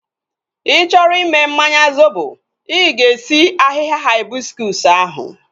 Ị chọrọ i mee mmanya zobo, i ga-esi ahịhịa haibiskus ahu